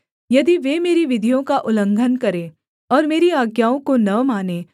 यदि वे मेरी विधियों का उल्लंघन करें और मेरी आज्ञाओं को न मानें